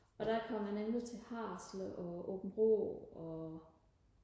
og der kom jeg nemlig til Haderslev og Aabenraa og